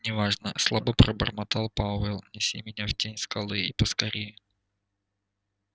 не важно слабо пробормотал пауэлл неси меня в тень скалы и поскорее